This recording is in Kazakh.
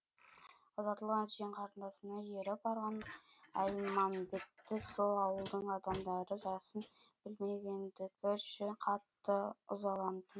ұзатылған жиен қарындасына еріп барған әлмамбетті сол ауылдың адамдары жасын білмегендігі үшін қатты ызаланды